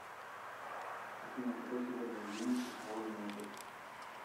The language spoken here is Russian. афина какой сегодня день число и месяц